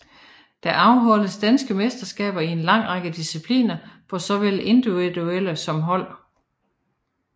Der afholdes danske mesterskaber i en lang række discipliner for såvel individuelle som hold